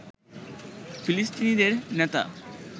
ফিলিস্তিনিদের নেতা